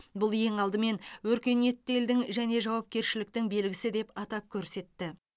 бұл ең алдымен өркениетті елдің және жауапкершіліктің белгісі деп атап көрсетті